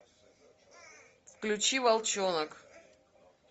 включи волчонок